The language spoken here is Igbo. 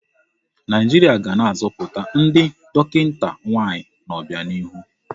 Naijiria ga na-azọpụta ndị dọkịta nwaanyị n'ọbianihu.